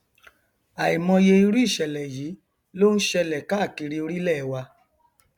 àìmọye irú ìṣẹlẹ yìí ló nṣẹlẹ káàkiri orílẹ wa